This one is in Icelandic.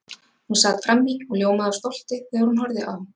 Hún sat frammí og ljómaði af stolti þegar hún horfði á